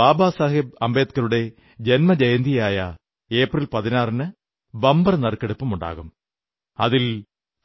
ബാബാസാഹബ് അംബേഡ്കറുടെ ജന്മജയന്തിയായ ഏപ്രിൽ 14 ന് ബമ്പർ നറുക്കെടുപ്പുണ്ടാകും അതിൽ